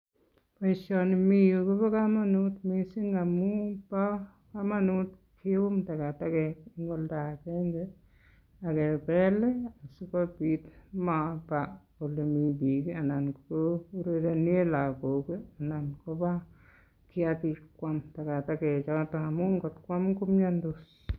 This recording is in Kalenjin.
Pelsani mi yu kobo kamanut mising amun bo kamanut kium takatakek eng kamasta agenge akepel sikopit komaba ole mi biik anan kourerene lakok anan koba kiyaki ipokwaam takatakek choto amun ngot kwaam komiandos.